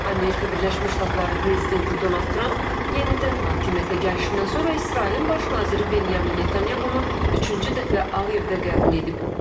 Amerika Birləşmiş Ştatları prezidenti Donald Tramp yenidən hakimiyyətə gəlişindən sonra İsrailin baş naziri Benjamin Netanyahunu üçüncü dəfə Ağ evdə qəbul edib.